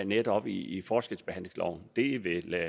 netop i forskelsbehandlingsloven det